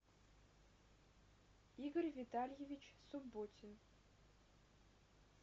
игорь витальевич субботин